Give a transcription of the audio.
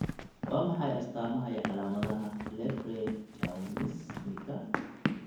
Waa maxay astamaha iyo calaamadaha Leprechaunismka?